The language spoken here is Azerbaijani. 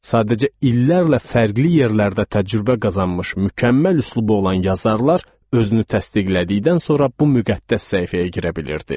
Sadəcə illərlə fərqli yerlərdə təcrübə qazanmış, mükəmməl üslubu olan yazarlar özünü təsdiqlədikdən sonra bu müqəddəs səhifəyə girə bilirdi.